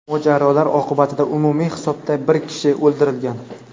Mojarolar oqibatida umumiy hisobda bir kishi o‘ldirilgan.